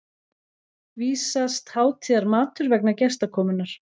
vísast hátíðarmatur vegna gestakomunnar.